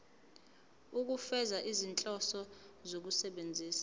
ukufeza izinhloso zokusebenzisa